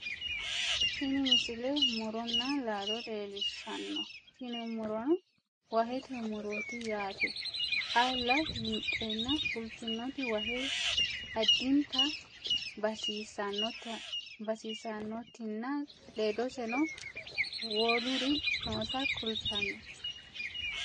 tini misile muronna laalo leellishshanno tini murono wahete murooti yaate xaalla winxeenna fultinoti wahe addinta basissannotinna ledoseno woluri noota kultanno